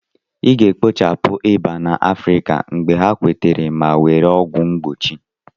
A ga-ekpochapụ ịba na Afrika mgbe ha nwetara ma were ọgwụ mgbochi